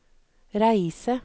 reise